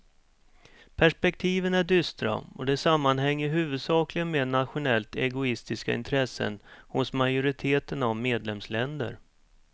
Perspektiven är dystra och det sammanhänger huvudsakligen med nationellt egoistiska intressen hos majoriteten av medlemsländer.